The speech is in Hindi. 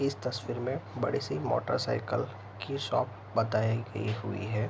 इस तस्वीर में बड़ी सी मोटरसाइकिल की शॉप बताई गयी हुई हैं।